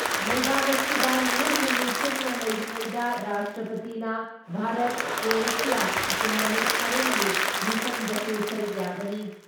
ꯂꯩꯕꯥꯛ ꯑꯁꯤꯗ ꯅꯨꯃꯤꯠ ꯍꯨꯝꯅꯤ ꯆꯨꯞꯅ ꯂꯩꯔꯤꯉꯩꯗ ꯔꯥꯁꯇ꯭ꯔꯄꯇꯤꯅ ꯚꯥꯔꯠꯀ꯭ꯔꯣꯑꯦꯁꯤꯌꯥ ꯏꯀꯣꯅꯣꯃꯤꯛ ꯐꯣꯔꯝꯒꯤ ꯃꯤꯐꯝꯗꯁꯨ ꯁꯔꯨꯛ ꯌꯥꯒꯅꯤ ꯫